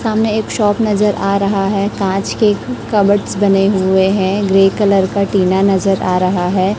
सामने एक शॉप नजर आ रहा है। कांच के कपबोर्डस बने हुए हैं। ग्रे कलर का टीना नजर आ रहा है।